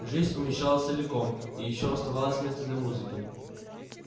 жизнь умещалась целиком и ещё оставалось место для музыки